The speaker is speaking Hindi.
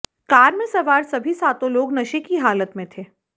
कार मे सवार सभी सातों लोग नशे की हालत में थे